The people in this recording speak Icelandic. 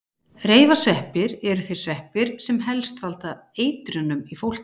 reifasveppir eru þeir sveppir sem helst valda eitrunum í fólki